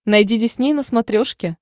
найди дисней на смотрешке